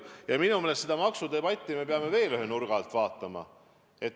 Minu meelest peame me seda maksudebatti vaatama veel ühe nurga alt.